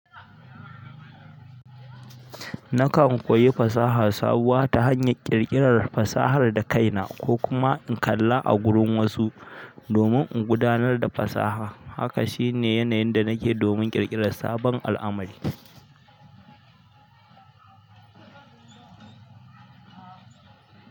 Nakan koyi fasaha sabuwa ta hanyar ƙirƙirar fasahar da kaina ko kuma in kalla a gurin wasu domin in gudanar da fasaha. Haka shi ne yanayin da nake domin ƙirƙirar sabon al'amari.